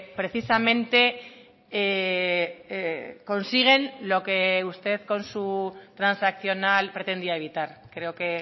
precisamente consiguen lo que usted con su transaccional pretendía evitar creo que